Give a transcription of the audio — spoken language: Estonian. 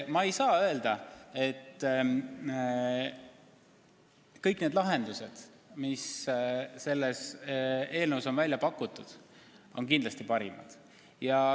Ma ei saa öelda, et kõik lahendused, mis selles eelnõus on välja pakutud, on kindlasti parimad.